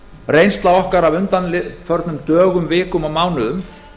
reynsla okkar af undanförnum dögum vikum og mánuðum